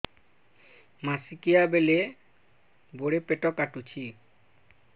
ମାସିକିଆ ବେଳେ ବଡେ ପେଟ କାଟୁଚି